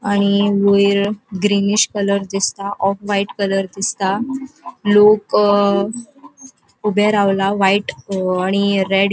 आणि वयर greenish colour दिसता ऑफव्हाइट कलर दिसता लोक ऊबे रावला व्हाइट आणि रेड --